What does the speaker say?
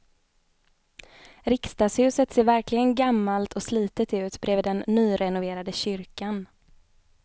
Riksdagshuset ser verkligen gammalt och slitet ut bredvid den nyrenoverade kyrkan.